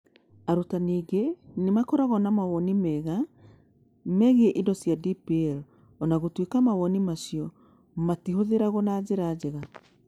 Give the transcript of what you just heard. Arutani aingĩ nĩ makoragwo na mawoni mega megiĩ indo cia DPL, o na gũtuĩka mawoni macio matihũthagĩrũo na njĩra njega.